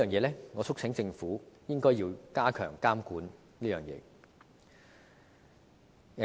就此，我促請政府加強監管。